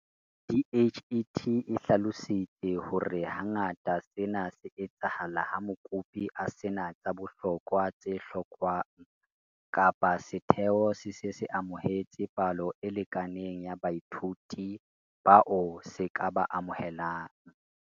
DHET e hlalositse hore hangata sena se etsahala ha mokopi a se na tsa bohlokwa tse hlokwang kapa setheo se se se amohetse palo e lekaneng ya baithuti bao se ka ba amohelang.